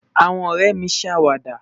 àwọn orèmi dawada